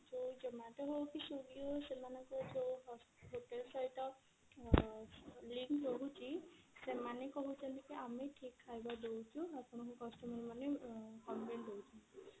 ସେ zomato ହଉ କି swiggy ହଉ ସେମାନଙ୍କର ଯଉ hotel ସହିତ ଅ link ରହୁଛି ସେମାନେ କହୁଛନ୍ତି କି ଆମେ ଠିକ ଖାଇବା ଦଉଛୁ ଆପଣଙ୍କ customer ମାନେ ଅ comment ଦଉଛନ୍ତି